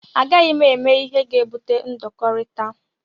A gaghị m eme ihe ga-ebute ndọkọrita.